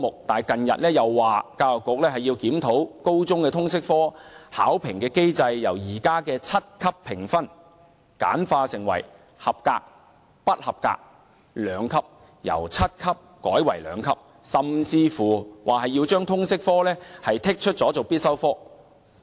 但近日又說，教育局要檢討高中通識科的考評機制，由現時的七級評分簡化成合格及不合格兩級，甚至說要將通識科剔出必修科之列。